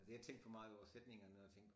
Altså jeg tænkte for meget over sætningerne og tænkte